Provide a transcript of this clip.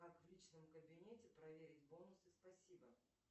как в личном кабинете проверить бонусы спасибо